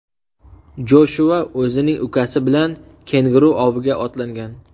Joshua o‘zining ukasi bilan kenguru oviga otlangan.